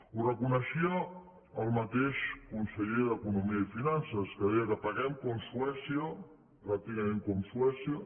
ho reconeixia el mateix conseller d’economia i finances que deia que paguem com suècia pràcticament com suècia